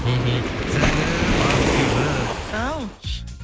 мхм сәлем ақбибі ау